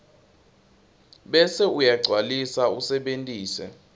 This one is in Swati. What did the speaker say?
bese uyagcwalisa usebentise